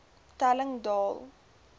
telling daal